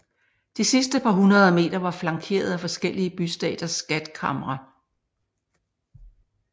De sidste par hundrede meter var flankeret af forskellige bystaters skatkamre